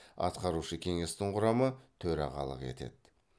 атқарушы кеңестің құрамы төрағалық етеді